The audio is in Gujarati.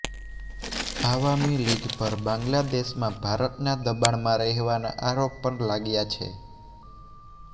આવામી લીગ પર બાંગ્લાદેશમાં ભારતના દબાણમાં રહેવાના આરોપ પણ લાગ્યા છે